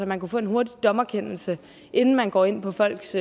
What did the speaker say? man kunne få en hurtig dommerkendelse inden man går ind på folks